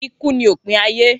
Iku ni opin aye.